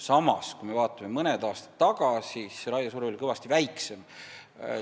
Samas, mõned aastad tagasi oli raiesurve kõvasti väiksem.